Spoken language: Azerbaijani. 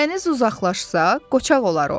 Dəniz uzaqlaşsa, qoçaq olar o.